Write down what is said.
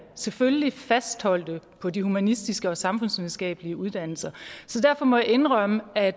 selvfølgelig fastholdt på de humanistiske og samfundsvidenskabelige uddannelser derfor må jeg indrømme at